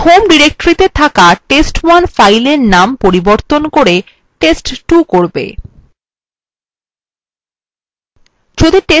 এইটি home ডিরেক্টরিতে থাকা test1 fileএর named পরিবর্তন করে test2 করবে